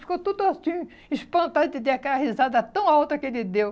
Ficou tudo assim, espantado de ter aquela risada tão alta que ele deu.